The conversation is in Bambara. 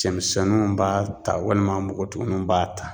Cɛmisɛnninw b'a ta walima npogotigininw b'a ta